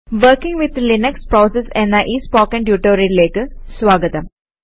working with Linux processes എന്ന ഈ spoken ട്യൂട്ടോറിയലിലേക്ക് സ്വാഗതം